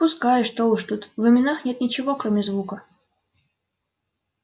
пускай что уж тут в именах нет ничего кроме звука